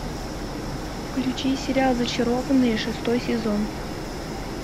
включи сериал зачарованные шестой сезон